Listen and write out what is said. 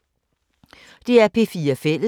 DR P4 Fælles